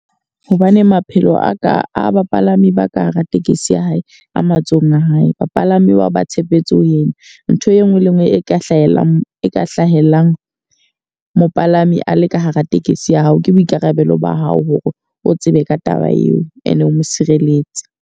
Hobane maphelo a ka a bapalami ba ka hara tekesi ya hae a matsohong a hae. Bapalami ba ba tshepetse ho yena. Ntho e nngwe le e nngwe e ka hlahelang e ka hlahellang mopalami a le ka hara tekesi ya hao. Ke boikarabelo ba hao hore o tsebe ka taba eo e ne o mo sireletse.